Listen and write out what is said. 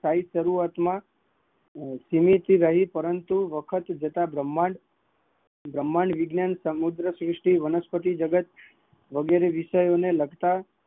સાહિત્યકારો, પપરંતુ સમય જતા બ્રહ્માંડ માં વિજ્ઞાન સમુદ્રશ્રુષ્ટિ સહિતસારુવાત છે